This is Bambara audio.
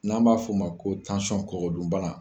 N'an b'a f'o ma ko tansɔn kɔgɔ dun bala